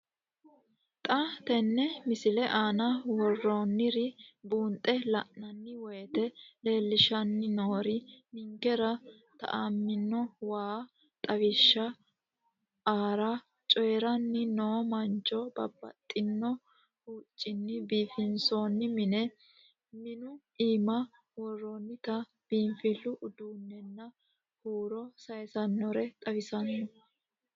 Xa tenne missile aana worroonniri buunxe la'nanni woyiite leellishshanni noori ninkera tuamino waa, xawishsha aara coyoiranni noo mancho, babbaxxino hoccinni biifinsoonni mine, minu iima worroonnita biinfillu uduunnenna huuro sayiisaannore xawissanno.